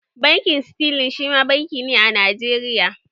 Bankin sterling shima banki ne a Najeriya